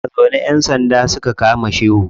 Muna zaune ƴan sanda suka kama shehu.